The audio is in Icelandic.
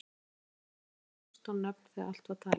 Þetta voru reyndar ekki nema fjórtán nöfn þegar allt var talið.